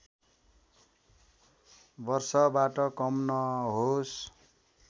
वर्षबाट कम नहोस्